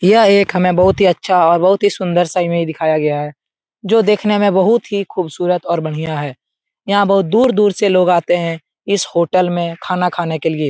यह एक हमें बहुत ही अच्छा और बहुत ही सुन्दर सा इमेज दिखाया गया है जो देखने में बहुत ही खुबसूरत और बढ़िया है यहाँ बहुत दूर-दूर से लोग आते हैं इस होटल में खाना खाने के लिए।